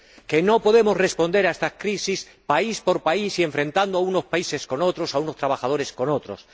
Que no podemos responder a estas crisis país por país y enfrentando a unos países con otros, a unos trabajadores con otros.